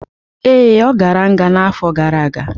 Ee, ọ gara nga n'afọ gara aga.